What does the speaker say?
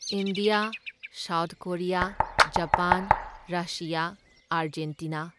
India, South Korea, Japan, Russia, Argentina.